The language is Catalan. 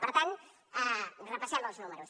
per tant repassem els números